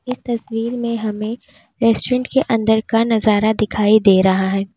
इस तस्वीर में हमें रेस्टोरेंट के अंदर का नजारा दिखाई दे रहा है।